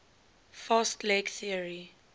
fast leg theory